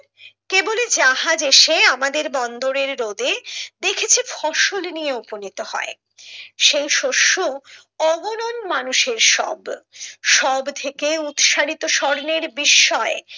কেবলি যাহা দেশে আমাদের বন্দরের রোদে দেখছি ফসল নিয়ে উপনীত হয় সেই শস্য ওহরন মানুষের সব, সব থেকে উৎসারিত স্বর্ণের বিস্ময়